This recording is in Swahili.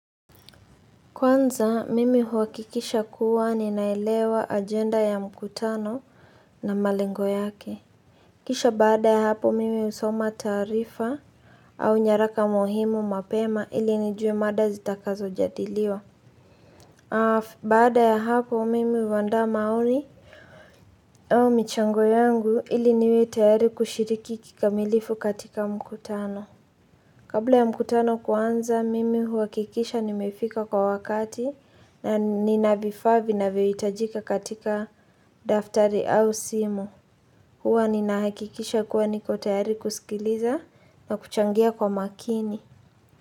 Kwanza, mimi huwakikisha kuwa ninailewa agenda ya mkutano na malengo yake. Kisha baada ya hapo, mimi usoma taarifa au nyaraka muhimu mapema ili nijue mada zitakazo jadiliwa. Baada ya hapo, mimi uawanda maoni michango yengu ili niwe tayari kushiriki kikamilifu katika mkutano. Kabla ya mkutano kuanza, mimi huakikisha nimefika kwa wakati na ninavifaa vinavio itajika katika daftari au simu. Hua ninahakikisha kuwa niko tayari kusikiliza na kuchangia kwa makini.